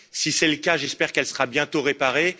Si c'est le cas, j'espère qu'elle sera bientôt réparée.